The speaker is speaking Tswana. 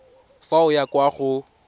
fa o ya kwa go